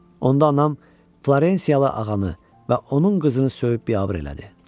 Onda anam Florensiyalı ağanı və onun qızını söyüb biabır elədi.